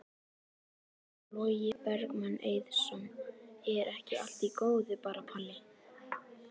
Logi Bergmann Eiðsson: Er ekki allt í góðu bara Palli?